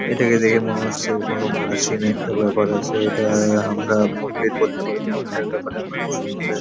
এটাকে দেখে মনে হচ্ছে কোনো প্রাচীন একটা ব্যাপার আছে এটা আমরা মন্দির বলতে পারি না এইটার ব্যাপারে আমার বেশি নলেজ --